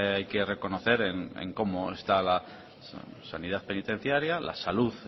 hay que reconocer en cómo está la sanidad penitenciaria la salud